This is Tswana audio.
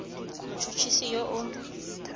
mot hot hisi yo o